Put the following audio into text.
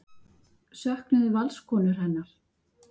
Söknuðu Valskonur hennar?